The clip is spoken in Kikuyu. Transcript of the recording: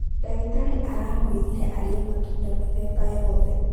Ndagĩtarĩ aramwĩrire arĩe matunda mĩthemba yoothe